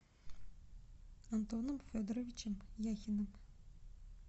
антоном федоровичем яхиным